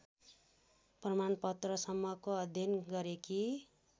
प्रमाणपत्रसम्मको अध्ययन गरेकी